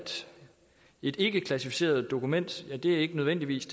et ikkeklassificeret dokument ikke nødvendigvis